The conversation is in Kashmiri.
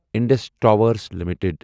Indus Towers limited